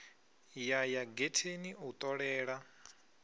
ya ya getheni u ṱolela